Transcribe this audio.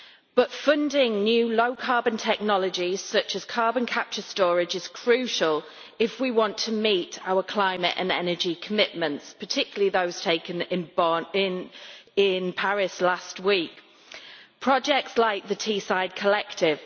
But funding new low carbon technologies such as carbon capture storage is crucial if we want to meet our climate and energy commitments, particularly those taken in Paris last week projects like the Teesside Collective.